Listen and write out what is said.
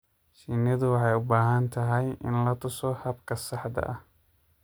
Shinnidu waxay u baahan tahay in la tuso habka saxda ah.